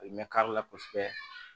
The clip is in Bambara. A bɛ mɛ kari la kosɛbɛ